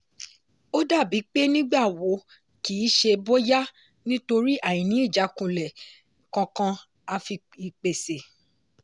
ó dàbí pé “nígbà wo” kìí ṣe “bóyá” nítorí àìní ìjákulẹ̀ kankan àfi ìpèsè.